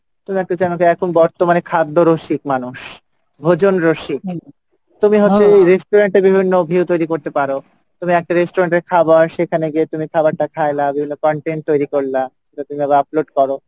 তুমি একটা channel কে এখন বর্তমানে খাদ্য রসিক মানুষ ভোজন রসিক তুমি হচ্ছে restaurant এ বিভিন্ন view তৈরি করতে পারো তুমি একটা restaurant এর খাবার সেখানে গিয়ে তুমি খাবারটা খাইলা বিভিন্ন content তৈরি করলা upload করো,